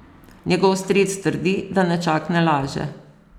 Njegov stric trdi, da nečak ne laže.